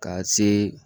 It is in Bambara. Ka se